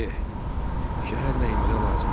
"Eh, şəhər nəyimizə lazımdır?